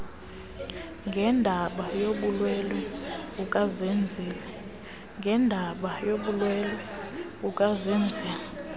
ngendaba yobulwelwe bukazenzile